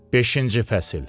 Beşinci fəsil.